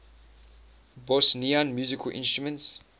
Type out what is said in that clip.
bosnian musical instruments